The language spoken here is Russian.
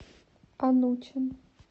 анучин